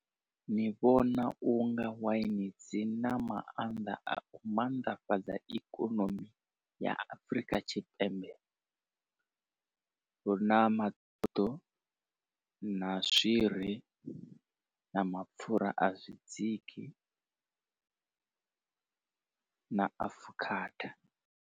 Ndi vhona unga waini dzi na maanḓa a u mannḓafhadza ikonomi ya Afrika Tshipembe hu na na swiri na mapfura a zwi dziki na afukhada.